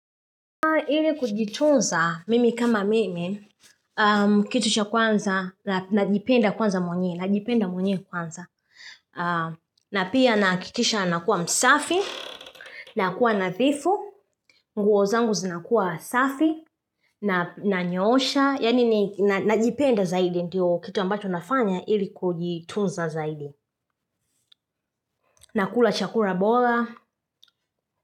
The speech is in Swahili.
Ili kujitunza mimi kama mimi kitu cha kwanza najipenda kwanza mwenyewe najipenda mwenyewe kwanza na pia nahakikisha nakuwa msafi, nakuwa nadhifu nguo zangu zinakuwa safi, nanyoosha yaani najipenda zaidi ndio kitu ambacho nafanya ili kujitunza zaidi nakula chakula bora.